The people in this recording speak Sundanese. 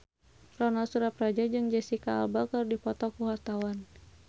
Ronal Surapradja jeung Jesicca Alba keur dipoto ku wartawan